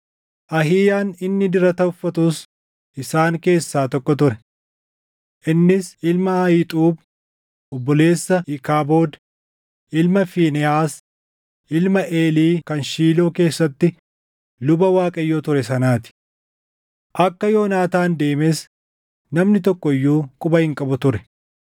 Ahiiyaan inni dirata uffatus isaan keessaa tokko ture. Innis ilma Ahiixuub obboleessa Iikaabood, ilma Fiinehaas ilma Eelii kan Shiiloo keessatti luba Waaqayyoo ture sanaa ti. Akka Yoonaataan deemes namni tokko iyyuu quba hin qabu ture.